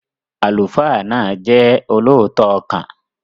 Àlùfáà náà jẹ́ olóòótọ́ ọkàn.